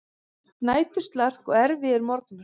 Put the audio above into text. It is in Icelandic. Næturslark og erfiðir morgnar.